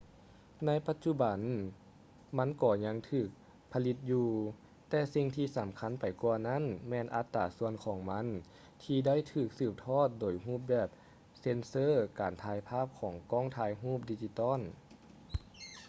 ໃນປັດຈຸບັນມັນກໍຍັງຖືກຜະລິດຢູ່ ແຕ່ສິ່ງທີ່ສຳຄັນໄປກວ່ານັ້ນແມ່ນອັດຕາສ່ວນຂອງມັນທີ່ໄດ້ຖືກສືບທອດໂດຍຮູບແບບເຊັນເຊີການຖ່າຍພາບຂອງກ້ອງຖ່າຍຮູບດິຈິຕອນ